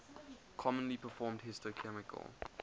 commonly performed histochemical